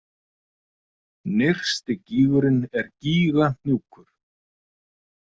Nyrsti gígurinn er Gígahnúkur.